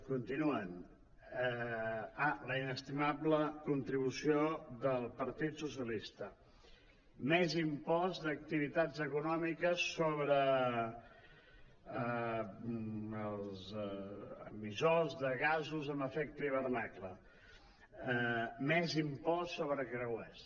continuen ah la inestimable contribució del partit socialista més impost d’activitats econòmi·ques sobre els emissors de gasos amb efecte hivernacle més impost sobre creuers